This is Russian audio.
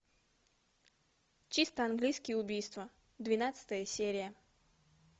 чисто английское убийство двенадцатая серия